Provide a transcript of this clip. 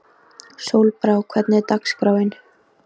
Sólbrá, hvernig er dagskráin?